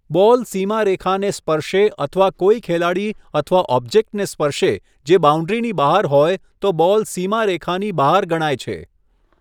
Ball સીમારેખાને સ્પર્શે અથવા કોઈ ખેલાડી અથવા ઑબ્જેક્ટને સ્પર્શે જે બાઉન્ડ્રીની બહાર હોય તો બોલ સીમારેખાની બહાર ગણાય છે.